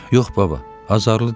Yox, baba, azarlı deyiləm.